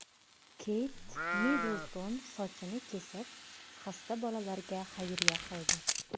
Keyt Middlton sochini kesib, xasta bolalarga xayriya qildi.